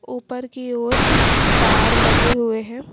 ऊपर की ओर तार लगे हुए हैं।